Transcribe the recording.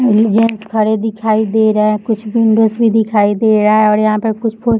खड़े दिखाई दे रहे हैं कुछ विंडोज भी दिखाई दे रहा हैं और यहाँ पे कुछ-कुछ --